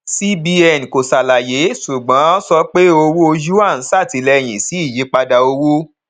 cbn kò ṣàlàyé ṣùgbọn sọ pé owó yuan ṣàtìlẹyìn sí ìyípadà owó